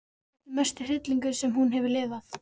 Þetta er mesti hryllingur sem hún hefur lifað.